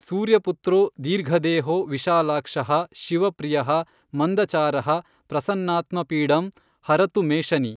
ಸೂರ್ಯ ಪುತ್ರೋ ದೀರ್ಘದೇಹೋ ವಿಶಾಲಾಕ್ಷಃ ಶಿವಪ್ರಿಯಃ ಮಂದಚಾರಃ ಪ್ರಸನ್ನಾತ್ಮಾ ಪೀಡಂ ಹರತು ಮೇ ಶನಿ।